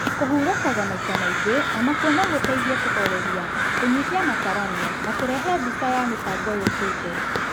Kũhurukaga maita maingĩ, onakuo nogũteithie kũhoreria, kũnyihia matarania, na kũrehe ya mbica ya mĩbango yũkĩte